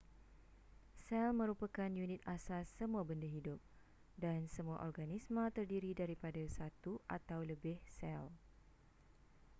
sel merupakan unit asas semua benda hidup dan semua organisma terdiri daripada satu atau lebih sel